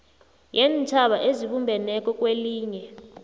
yeentjhaba ezibumbeneko kwelinye